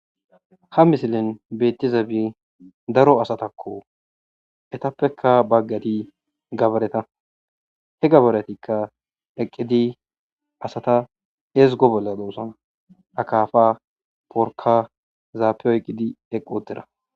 Ha misilen betizay daro asatako etapeka daroti gabaretako